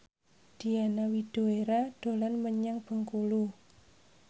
Diana Widoera dolan menyang Bengkulu